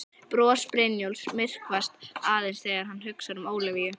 Bros Brynjólfs myrkvast aðeins þegar hann hugsar um Ólafíu.